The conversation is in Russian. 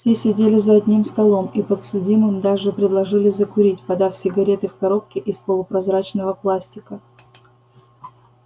все сидели за одним столом и подсудимым даже предложили закурить подав сигареты в коробке из полупрозрачного пластика